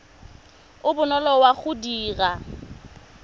o bonolo wa go dira